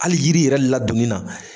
Hali yiri yɛrɛ ladonni na